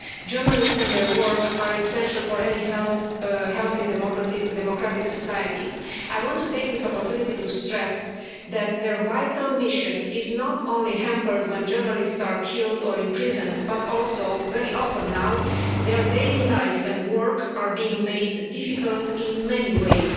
Journalists and their work are essential for any healthy democratic society. I want to take this opportunity to stress that their vital mission is not only hampered when journalists are killed or imprisoned but that also, very often now, their daily lives and work are being made difficult in many ways.